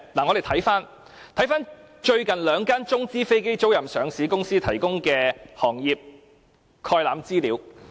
我們且看看兩間中資飛機租賃上市公司，最近提供的行業概覽資料。